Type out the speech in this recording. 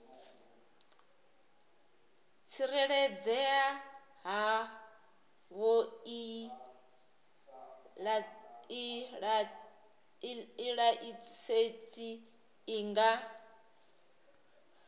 tsireledzea havhoiyi laisentsi i nga